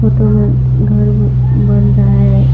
Photo में घर बन रहा है।